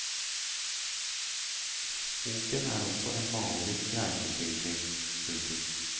Boken er også en malerisk reiseskildring. punktum